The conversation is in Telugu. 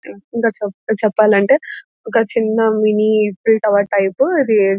ఇంక్ చెప్ చెప్పాలంటే ఒక చిన్న మినీ ఈఫిల్ టవర్ టైపు ఇది --